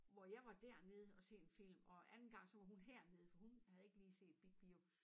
Hvor jeg var dernede og se en film og anden gang så var hun hernede for hun havde ikke lige set Big Bio